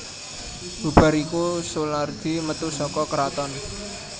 Bubar iku Soelardi metu saka kraton